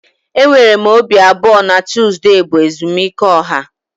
Enwere m obi abụọ na Tuzdee bụ ezumike ọha